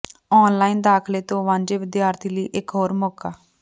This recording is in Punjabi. ਆਨ ਲਾਈਨ ਦਾਖ਼ਲੇ ਤੋਂ ਵਾਂਝੇ ਵਿਦਿਆਰਥੀਆਂ ਲਈ ਇਕ ਹੋਰ ਮੌਕਾ